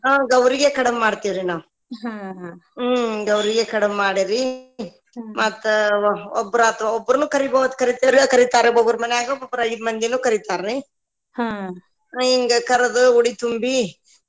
ಹಾ ಗೌರಿಗೆ ಕಡಬ ಮಾಡ್ತೇವ್ರಿ ನಾವ್ ಹ್ಮ್‌ ಗೌರಿಗ ಕಡಬ ಮಾಡಿರೀ ಮತ್ತ ಒಬ್ಬರಾತ ಒಬ್ಬರನ ಕರಿಬಹುದ್ರೀ ಕರಿತಾರ್ರಿ ಒಬ್ಬೊಬ್ಬರ ಮನ್ಯಾಗ ಒಬ್ಬೊಬ್ಬರ ಐದ ಮಂದಿನ್ನು ಕರಿತಾರ್ರಿ ಹಿಂಗ ಕರದು ಉಡಿ ತುಂಬಿ.